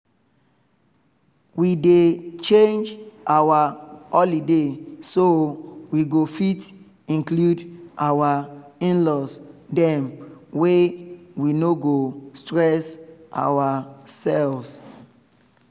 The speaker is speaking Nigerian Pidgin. we dey change our holiday so we go fit include our in-laws dem way we no go stress ourselves